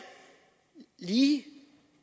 lige